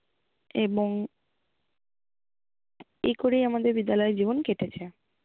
এবং এইকরেই আমাদের বিদ্যালয় জীবন কেটেছে।